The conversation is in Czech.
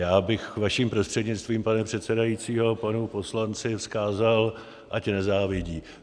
Já bych, vaším prostřednictvím, pane předsedající, panu poslanci vzkázal, ať nezávidí.